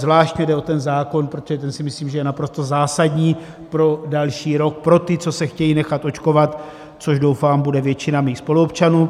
Zvlášť mi jde o ten zákon, protože ten si myslím, že je naprosto zásadní pro další rok pro ty, co se chtějí nechat očkovat, což doufám, bude většina mých spoluobčanů.